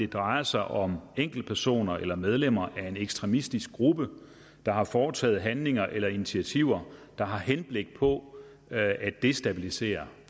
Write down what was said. drejer sig om enkeltpersoner eller medlemmer af en ekstremistisk gruppe der har foretaget handlinger eller initiativer der har henblik på at destabilisere